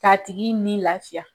Ka tigi ni lafiya.